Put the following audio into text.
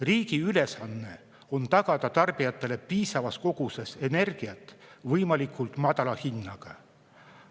Riigi ülesanne on tagada tarbijatele piisavas koguses energiat võimalikult madala hinnaga.